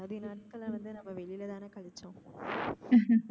பாதி நாட்கள வந்து நாம வெளில தான கழிச்சோம்